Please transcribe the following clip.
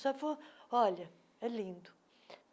Sabe foi... Olha, é lindo.